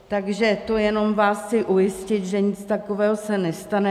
Takže to jenom vás chci ujistit, že nic takového se nestane.